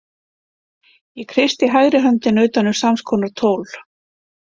Ég kreisti hægri höndina utan um samskonar tól.